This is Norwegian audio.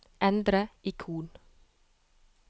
endre ikon